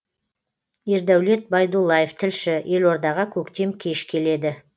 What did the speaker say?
ердәулет байдуллаев тілші елордаға көктем кеш келеді